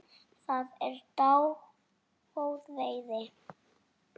Það er dágóð veiði.